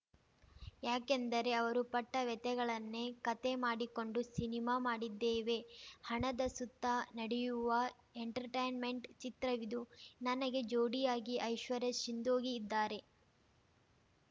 ಯಾಕೆಂದರೆ ಅವರು ಪಟ್ಟವ್ಯಥೆಗಳನ್ನೇ ಕತೆ ಮಾಡಿಕೊಂಡು ಸಿನಿಮಾ ಮಾಡಿದ್ದೇವೆ ಹಣದ ಸುತ್ತ ನಡೆಯುವ ಎಂಟರ್‌ಟೈನ್‌ಮೆಂಟ್‌ ಚಿತ್ರವಿದು ನನಗೆ ಜೋಡಿಯಾಗಿ ಐಶ್ವರ್ಯ ಸಿಂಧೋಗಿ ಇದ್ದಾರೆ